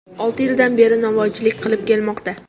Olti yildan beri novvoychilik qilib kelmoqda.